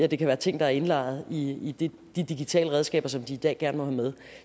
det kan være ting der er indlejret i de digitale redskaber som de i dag gerne må have med